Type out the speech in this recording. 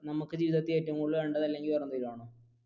നമുക്ക് ജീവിതത്തിൽ ഏറ്റവും കൂടുതൽ വേണ്ടത അല്ലെങ്കിൽ വേറെ എന്തേലും ആണോ?